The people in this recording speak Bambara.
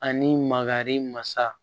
Ani mankari masa